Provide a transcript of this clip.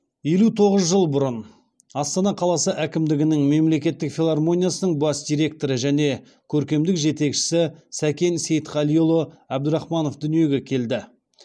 елу тоғыз жыл бұрын астана қаласы әкімдігінің мемлекеттік филармониясының бас директоры және көркемдік жетекшісі сәкен сейтқалиұлы әбдірахманов дүниеге келді